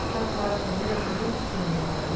furado o pneu, você vê o destino como é, né?